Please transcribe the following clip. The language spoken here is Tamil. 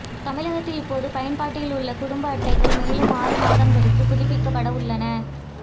தமிழகத்தில் இப்போது பயன்பாட்டில் உள்ள குடும்ப அட்டைகள் மேலும் ஆறு மாதங்களுக்கு புதுப்பிக்கப்பட உள்ளன